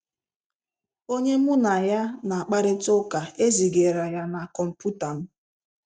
Onye mụ na ya na-akparịta ụka ezigara ya na kọmputa m.